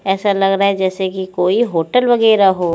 ऐसा लगरा है जेसे की कोई होटल वगेरा हो--